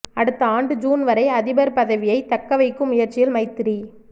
அடுத்த ஆண்டு ஜூன் வரை அதிபர் பதவியைத் தக்கவைக்கும் முயற்சியில் மைத்திரி